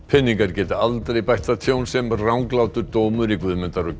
peningar geta aldrei bætt það tjón sem ranglátur dómur í Guðmundar og